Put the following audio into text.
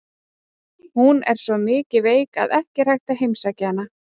Hún er svo mikið veik að ekki er hægt að heimsækja hana.